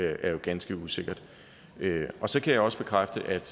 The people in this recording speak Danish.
er jo ganske usikkert så kan jeg også bekræfte at